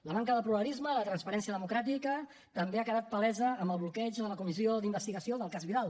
la manca de pluralisme de transparència democràtica també ha quedat palesa amb el bloqueig de la comissió d’investigació del cas vidal